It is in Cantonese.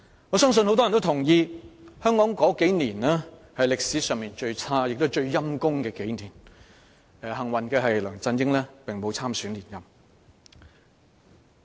我相信大部分人也同意，香港這數年間是歷史上最差和最悲慘的數年，但慶幸的是梁振英並無參選連任。